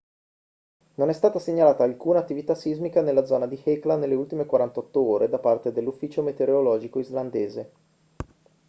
non è stata segnalata alcuna attività sismica nella zona di hekla nelle ultime 48 ore da parte dell'ufficio meteorologico islandese